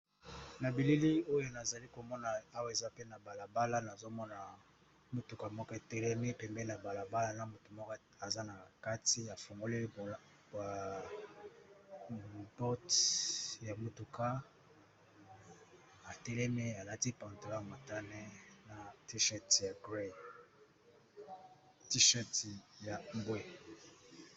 Na bilili oyo nazali komona awa, ezali bongo na balabala, nazali pe komona mutuka moko etelemi pembeni ya balabala yango